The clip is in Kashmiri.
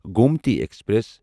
گومتی ایکسپریس